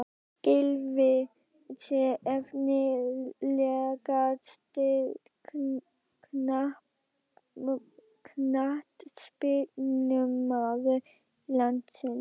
Gylfi Sig Efnilegasti knattspyrnumaður landsins?